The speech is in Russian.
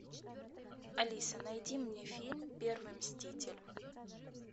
алиса найди мне фильм первый мститель